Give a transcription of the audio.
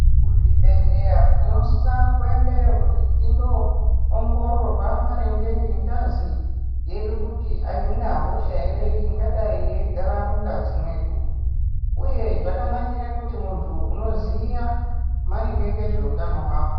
Kuzvibhedhleya tinosisa kuendeyo kuti tinoongororwa maringe ngengazi yedu kuti haina hosha ere ingadai yeigara mungazi mwedu. Uye zvakanakira kuti muntu unoziya maringe ngezveutano hwako.